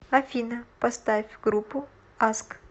афина поставь группу аск